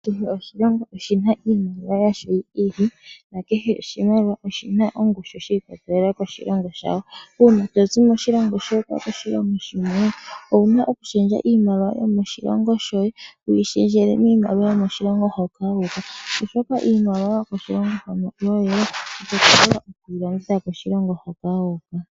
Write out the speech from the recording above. Kehe oshilongo oshi na iimaliwa yasho yi ili nakehe oshimaliwa oshi na ongushu shi ikwatelela koshilongo shawo. Uuna to zi moshilongo sheni wu uka koshilongo shilwe, owu na okushendja iimaliwa yomoshilongo shoye wu yi shendjele miimaliwa yomoshilongo moka wu uka, oshoka iimaliwa yomoshilongo shoye ito ka vula okuyi longitha moshilongo moka wu uka.